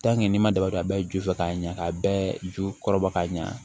n'i ma daba dɔn a bɛɛ bɛ ju fɛ ka ɲa ka bɛɛ ju kɔrɔ bɔ ka ɲa